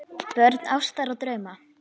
Börn ástar og drauma